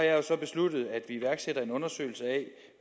jeg så besluttet at vi iværksætter en undersøgelse af